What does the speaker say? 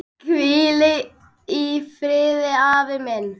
Hvíl í friði, afi minn.